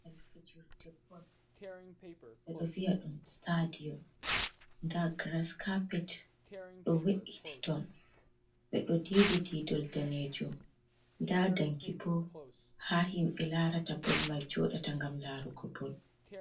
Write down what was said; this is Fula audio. Babal fejirde bol, ɓeɗo viya dum stadion, nda grascarpit ɗo we’iti ton, ɓe ɗo didi didol danejum, nda danki bo ha himɓe larata bol mai jodata gam larugo bol.